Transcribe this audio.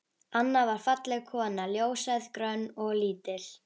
Anna var falleg kona, ljóshærð, grönn og lítil.